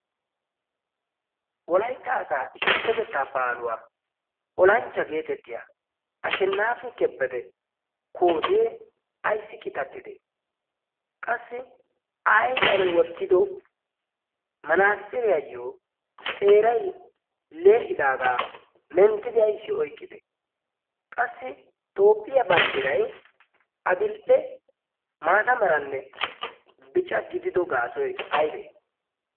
wolaytta asaa issippetettaa baaluwaa olanchcha geetettiyaa a shennaafi kebbede kootee ayssi qitattide? qassi a ayfiyan wottido manaasiriyaayyo xeeray lee'idaagaa menttidi ayssi oiqqide qassi toophphiyaa banddirai a dil"e maata meranne bica gidido gaasoy aybee?